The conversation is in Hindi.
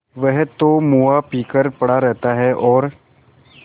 वह तो मुआ पी कर पड़ा रहता है और